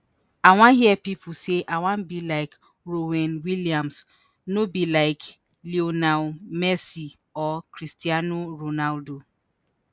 i wan hear pipo say ‘i wan be like ronwen williams’ no be like [lionel] messi or cristiano ronaldo.